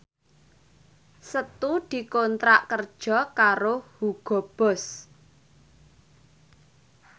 Setu dikontrak kerja karo Hugo Boss